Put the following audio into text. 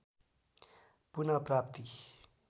पुनः प्राप्ति